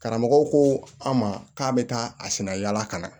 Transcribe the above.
Karamɔgɔw ko an ma k'a bɛ taa a sina yala ka na